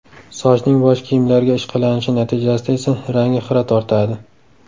Sochning bosh kiyimlarga ishqalanishi natijasida esa rangi xira tortadi.